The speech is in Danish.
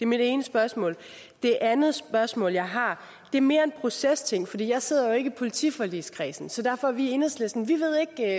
mit ene spørgsmål det andet spørgsmål jeg har er mere en procesting for jeg sidder jo ikke i politiforligskredsen så derfor ved vi i enhedslisten